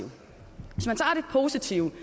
en positiv